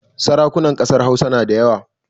Sarakunan ƙasar Hausa na da yawa